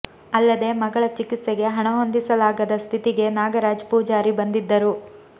ಅಲ್ಲದೇ ಮಗಳ ಚಿಕಿತ್ಸೆಗೆ ಹಣ ಹೊಂದಿಸಲಾಗದ ಸ್ಥಿತಿಗೆ ನಾಗರಾಜ್ ಪೂಜಾರಿ ಬಂದಿದ್ದರು